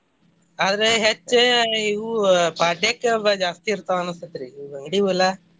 ಆದ್ರೆ ಹೆಚ್ಚ್ ಇವು ಪಾಡ್ಯಕ್ಕ ಎಲ್ಲಾ ಜಾಸ್ತಿ ಇರ್ತಾವ ಅನ್ಸುತ್ರಿ ಇವ ಅಂಗಡಿವೆಲ್ಲಾ .